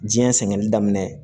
Diɲɛ sɛŋɛnli daminɛ